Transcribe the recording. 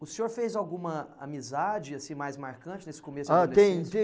O senhor fez alguma amizade assim, mais marcante nesse começo da adolescência? Ah, tem tem